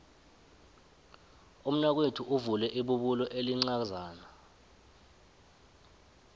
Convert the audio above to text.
umnakwethu uvule ibubulo elincazana